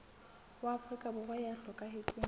wa afrika borwa ya hlokahetseng